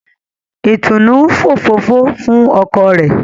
Itunu ń òfófó fún ọkọ rẹ.